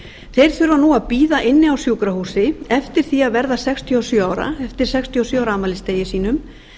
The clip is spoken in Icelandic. þeir þurfa nú að bíða inni á sjúkrahúsi eftir sextíu og sjö ára afmælisdegi sínum